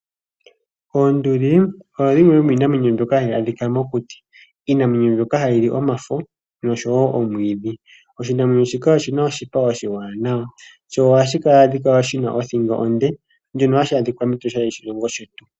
Oonduli oyo yimwe yomiinamwenyo mbyoka hayi adhika mokuti, iinamwenyo mbyoka hayili omafo noshowo omwiidhi. Oshinamwenyo shika oshina oshipa oshiwanawa sho ohashikala shina othingo onde, shono hashi adhika mEtosha.